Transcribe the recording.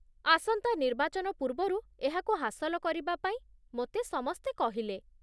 ଆସନ୍ତା ନିର୍ବାଚନ ପୂର୍ବରୁ ଏହାକୁ ହାସଲ କରିବାପାଇଁ ମୋତେ ସମସ୍ତେ କହିଲେ